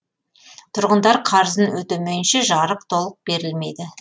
тұрғындар қарызын өтемейінше жарық толық берілмейді